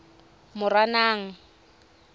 moranang